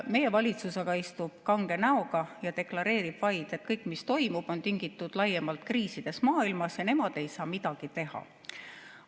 Meie valitsus aga istub kange näoga ja deklareerib vaid, et kõik, mis toimub, on tingitud laiemalt kriisidest maailmas ja nemad ei saa midagi teha.